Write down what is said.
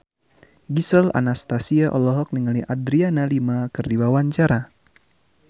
Gisel Anastasia olohok ningali Adriana Lima keur diwawancara